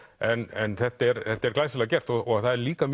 en þetta er þetta er glæsilega gert og það er líka